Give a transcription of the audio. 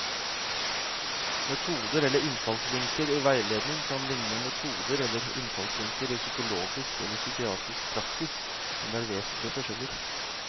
Metoder eller innfallsvinkler i veiledning kan likne metoder eller innfallsvinkler i psykologisk eller psykiatrisk praksis, men det er vesentlige forskjeller.